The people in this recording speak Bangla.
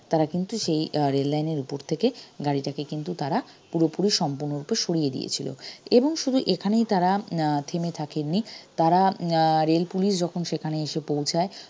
তারা কিন্তু সেই আহ rail line এর উপর থেকে গাড়িটাকে কিন্তু তারা পুরোপুরি সম্পূর্ণরূপে সড়িয়ে দিয়েছিলো এবং শুধু এখানেই তারা উম আহ থেমে থাকেননি তারা উম আহ rail পুলিশ যখন সেখানে এসে পৌঁছায়